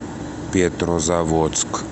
петрозаводск